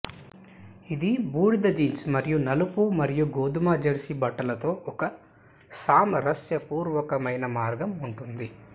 ఇది బూడిద జీన్స్ మరియు నలుపు మరియు గోధుమ జెర్సీ బట్టలు తో ఒక సామరస్యపూర్వకమైన మార్గం ఉంటుంది